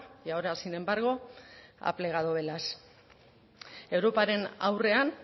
y ahora sin embargo ha plegado velas europaren aurrean